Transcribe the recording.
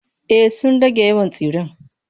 Ay sun rage yawan tsiren.